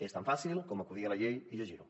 és tan fàcil com acudir a la llei i llegir ho